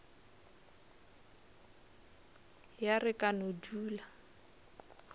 ya re ka no dula